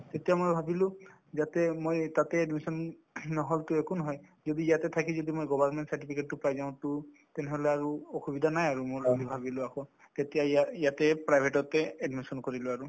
তেতিয়া মই ভাবিলো যাতে মই তাতে admission নহল to একো নহয় যদি ইয়াতে থাকি যদি মই government certificate তো পাই যাওঁ to তেনেহলে আৰু অসুবিধা নাই আৰু মোৰ বুলি ভাবিলো আকৌ তেতিয়া ইয়া ইয়াতে private তে admission কৰিলো আৰু